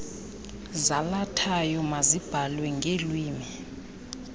zalathayo mazibhalwe ngeelwimi